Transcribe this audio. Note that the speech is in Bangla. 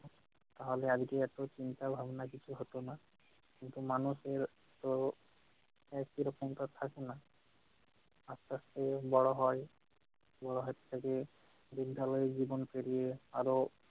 তাহলে আজকে এত চিন্তা ভাবনা কিছু হত না, কিন্তু মানুষের তো একই রকম কাজ থাকে না। আস্তে আস্তে বড় হয়, বড় হয়ে থাকে বিদ্যালয় জীবন পেরিয়ে আরও-